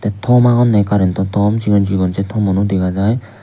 tom agonney karentto tom sigon sigon sei tomuno dega jaai.